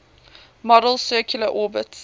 model's circular orbits